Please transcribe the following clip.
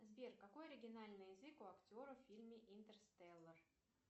сбер какой оригинальный язык у актеров в фильме интерстеллар